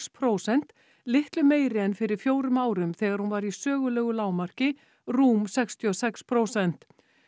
prósent litlu meiri en fyrir fjórum árum þegar hún var í sögulegu lágmarki rúm sextíu og sex prósent